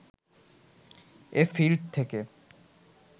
এ field থেকে